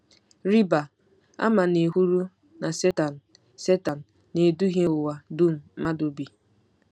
Rịba ama na e kwuru na Setan Setan “na-eduhie ụwa dum mmadụ bi.”